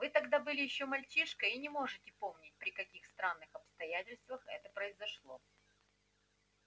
вы тогда были ещё мальчишкой и не можете помнить при каких странных обстоятельствах это произошло